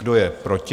Kdo je proti?